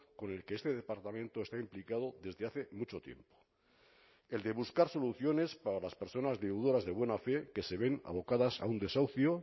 con el que este departamento está implicado desde hace mucho tiempo el de buscar soluciones para las personas deudoras de buena fe que se ven abocadas a un desahucio